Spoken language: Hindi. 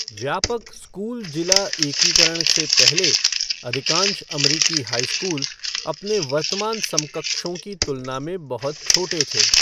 व्यापक स्कूल जिला एकीकरण से पहले, अधिकांश अमरीकी हाई स्कूल अपने वर्तमान समकक्षों की तुलना में बहुत छोटे थे।